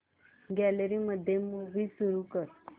gallery मध्ये movie सुरू कर